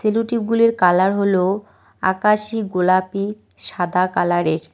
স্যালুটেপ গুলির কালার হল আকাশী গোলাপী সাদা কালারের ।